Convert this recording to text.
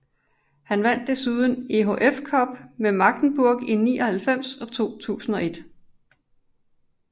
Han vandt desuden EHF Cup med Magdeburg i 1999 og 2001